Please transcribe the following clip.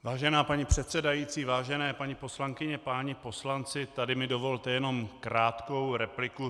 Vážená paní předsedající, vážené paní poslankyně, páni poslanci, tady mi dovolte jenom krátkou repliku.